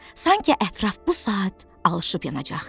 Sanki ətraf bu saat alışıb yanacaqdı.